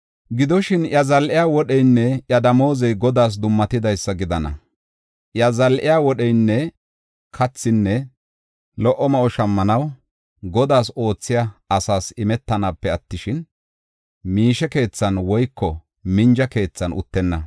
Gidoshin, iya zal7iya wodheynne iya damoozey Godaas dummatidaysa gidana; iya zal7iya wodheynne kathinne lo77o ma7o shammanaw, Godaas oothiya asaas imetanaape attishin, miishe keethan woyko minja keethan uttenna.